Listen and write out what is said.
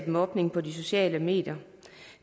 mobning på de sociale medier